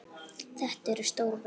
Þetta eru stór verk.